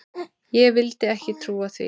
Ég vildi ekki trúa því.